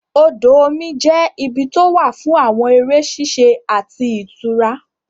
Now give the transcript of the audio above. Odò omi jẹ́ ibi tó wà fún àwọn eré ṣíṣe àti ìtura